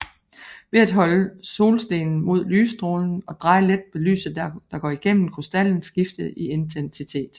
Ved at holde solstenen mod lystrålen og dreje let vil lyset der går igennem krystallen skifte i intensitet